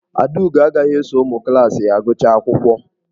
Adaugo agaghị eso ụmụ klaasị ya gụchaa akwụkwọ.